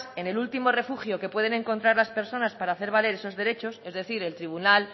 en el último refugio en el que pueden encontrar las personas para hacer valer sus derechos es decir el tribunal